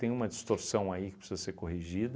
Tem uma distorção aí que precisa ser corrigida.